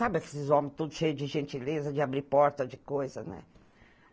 Sabe esses homens todos cheios de gentileza, de abrir porta, de coisa, né?